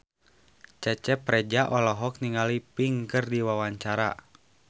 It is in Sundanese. Cecep Reza olohok ningali Pink keur diwawancara